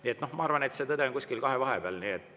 Nii et ma arvan, et tõde on kuskil kahe vahepeal.